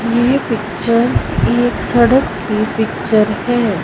ये पिक्चर एक सड़क की पिक्चर है।